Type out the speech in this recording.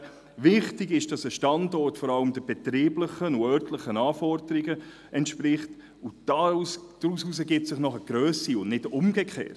Wichtig ist, dass ein Standort vor allem den betrieblichen und örtlichen Anforderungen entspricht, und daraus ergibt sich dann die Grösse und nicht umgekehrt.